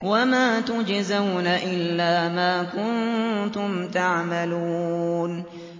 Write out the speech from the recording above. وَمَا تُجْزَوْنَ إِلَّا مَا كُنتُمْ تَعْمَلُونَ